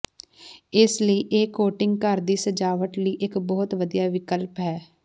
ਇਸ ਲਈ ਇਹ ਕੋਟਿੰਗ ਘਰ ਦੀ ਸਜਾਵਟ ਲਈ ਇੱਕ ਬਹੁਤ ਵਧੀਆ ਵਿਕਲਪ ਹੈ